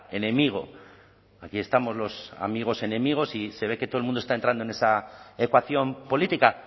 enemigo aquí estamos los amigos enemigos y se ve que todo el mundo está entrando en esa ecuación política